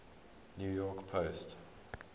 new york post